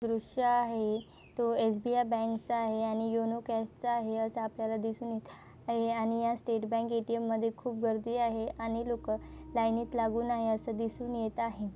दृश्य आहे तो एसबीआय बँक चा आहे आणि यु नो कॅश चा आहे असे आपल्याला दिसून येत आहे आणि या स्टेट बँक ए-टी-ए-म मध्ये खूप गर्दी आहे आणि लोकं लाईनीत लागून आहे असं दिसून येत आहे.